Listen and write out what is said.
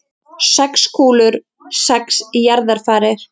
Sex kúlur, sex jarðarfarir.